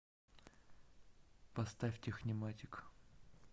поставь техниматик